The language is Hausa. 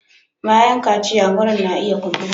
Bayan kaciya wurin na iya kumbura.